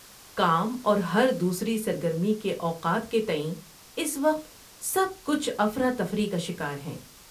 کام اور ہر دوسری سرگرمی کے اوقات کے تئیں، اس وقت سب کچھ افراتفری کا شکار ہیں۔